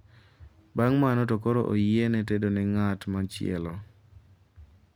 Bang` mano to koro oyiene tedo ne ng`at machielo.